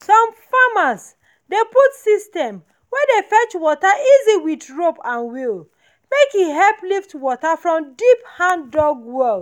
some farmers dey put system wey dey fetch water easy with rope and wheel make e help lift water from deep hand-dug wells.